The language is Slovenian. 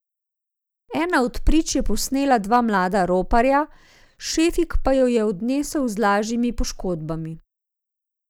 Ena od prič je posnela dva mlada roparja, Šefik pa jo je odnesel z lažjimi poškodbami.